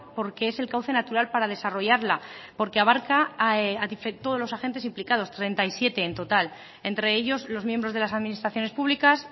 porque es el cauce natural para desarrollarla porque abarca a todos los agentes implicados treinta y siete en total entre ellos los miembros de las administraciones públicas